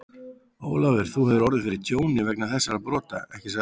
Ólafur, þú hefur orðið fyrir tjóni vegna þessara brota, ekki satt?